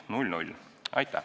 Aitäh!